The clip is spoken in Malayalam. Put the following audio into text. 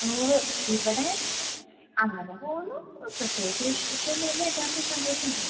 ഉവ്വ്. ഇവിടെ അങ്ങനെ പോവുന്നു, പ്രത്യേകിച്ച് വിശേഷം ഒന്നും ഇല്ല എല്ലാവർക്കും സന്തോഷം തന്നെ.